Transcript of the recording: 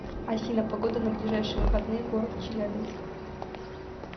афина погода на ближайшие выходные город челябинск